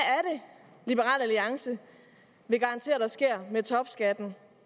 liberal alliance vil garantere der sker med topskatten